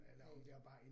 Næ